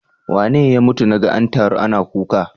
Wane ya mutu naga an taru ana kuka?